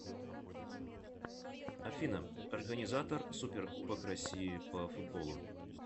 афина организатор суперкубок россии по футболу